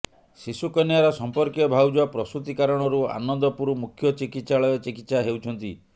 ଶିଶୁ କନ୍ୟାର ସମ୍ପର୍କୀୟ ଭାଉଜ ପ୍ରସୂତି କାରଣରୁ ଆନନ୍ଦପୁର ମୁଖ୍ୟ ଚିକିତ୍ସାଳୟ ଚିକିତ୍ସା ହେଉଛନ୍ତି